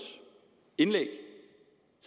indlæg